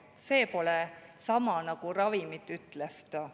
See pole sama nagu ravimid," ütles ta.